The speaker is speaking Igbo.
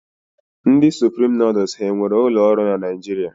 Ndị Supreme nuduls ha e nwere ụlọ ọrụ na Naijiria?